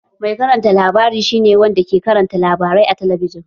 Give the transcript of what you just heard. Mai karanta labari shi ne wanda ke karanta labarai a talabijin